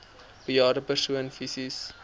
bejaarde persoon fisies